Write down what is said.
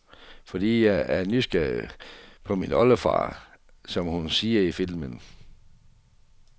Fordi jeg er nysgerrig på min oldefar, som hun siger i filmen.